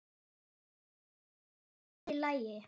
Er það nærri lagi?